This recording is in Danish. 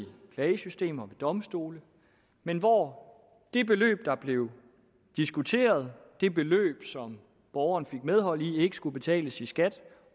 klagesystemer og domstole men hvor det beløb der blev diskuteret det beløb som borgeren fik medhold i ikke skulle betales i skat